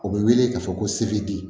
O bɛ wele k'a fɔ ko se bɛ di